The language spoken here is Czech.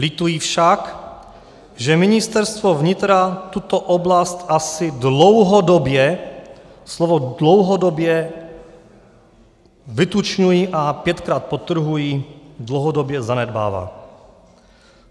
Lituji však, že Ministerstvo vnitra tuto oblast asi dlouhodobě - slovo dlouhodobě vytučňuji a pětkrát podtrhuji - dlouhodobě zanedbává.